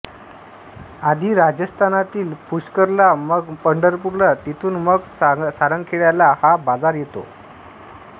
आधी राजस्थानातील पुष्करला मग पंढरपूरला तिथून मग सारंगखेड्याला हा बाजार येतो